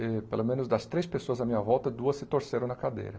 Eh pelo menos das três pessoas à minha volta, duas se torceram na cadeira.